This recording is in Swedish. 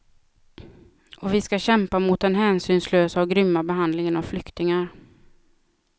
Och vi ska kämpa mot den hänsynslösa och grymma behandlingen av flyktingar.